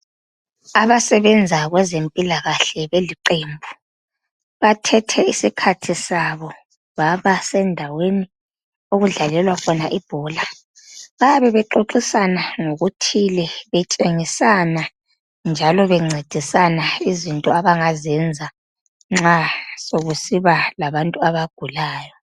Abasebenza kwezempilakahle beliqembu, bathethe isikhathi sabo babasendaweni okudlalelwa khona ibhola. Bayabe bexoxisana ngokuthile, betshengisana njalo bencedisana izinto abangazenza nxa sokusiba labantu abagulayo.